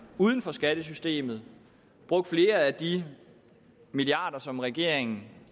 uden for skattesystemet og brugt flere af de milliarder som regeringen